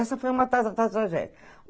Essa foi uma ta tragédia.